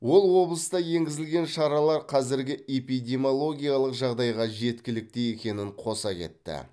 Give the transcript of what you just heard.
ол облыста енгізілген шаралар қазіргі эпидемиологиялық жағдайға жеткілікті екенін қоса кетті